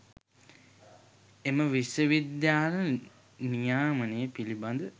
එම විශ්ව විද්‍යාල නියාමනය පිළිබඳ